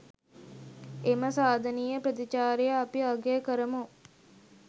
එම සාධනීය ප්‍රතිචාරය අපි අගය කරමු.